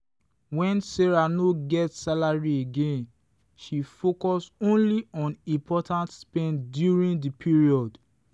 when sarah no get salary again she focus only on important spend during the period.